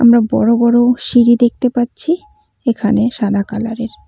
আমরা বড়ো বড়ো সিঁড়ি দেখতে পাচ্ছি এখানে সাদা কালারের।